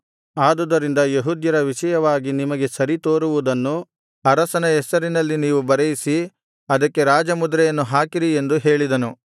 ಆದುದರಿಂದ ಯೆಹೂದ್ಯರ ವಿಷಯವಾಗಿ ನಿಮಗೆ ಸರಿತೋರುವುದನ್ನು ಅರಸನ ಹೆಸರಿನಲ್ಲಿ ನೀವೂ ಬರೆಯಿಸಿ ಅದಕ್ಕೆ ರಾಜಮುದ್ರೆಯನ್ನು ಹಾಕಿರಿ ಎಂದು ಹೇಳಿದನು